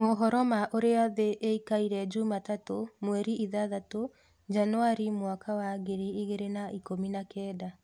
Mohoro ma urĩa thĩ ikaire jumatatũ mweri ithathatũ Januari mwaka wa ngiri igĩrĩ na ikũmi na Kenda.